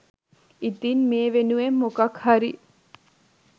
ඉතින් මේ වෙනුවෙන් මොකක්හරි